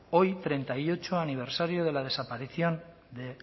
hoy treinta y ocho aniversario de la desaparición de